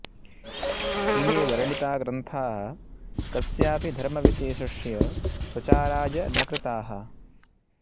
इमे वर्णिता ग्रन्था कस्यापि धर्मविशेषस्य प्रचाराय न कृताः